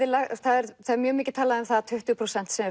mjög mikið talað um það að tuttugu prósent sé